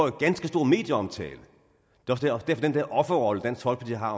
en ganske stor medieomtale den der offerrolle dansk folkeparti har